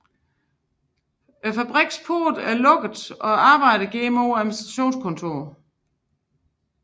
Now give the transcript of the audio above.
Fabrikkens porte lukkes og arbejderne går mod administrationens kontorer